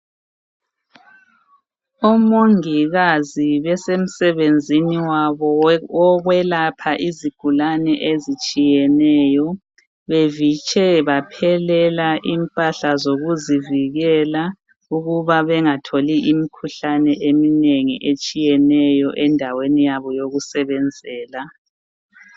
Omongikazi besemsebenzini yabo yokwelapha izigulane ezitshiyeneyo. Bevitshe baphelela impahla zokuzivikela ukuba bengatholi imkhuhlane eminengi etshiyeneyo endaweni yabo yokusebenzela.